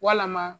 Walama